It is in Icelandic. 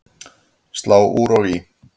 Slá úr og í